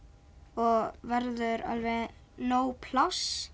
og verður alveg nóg pláss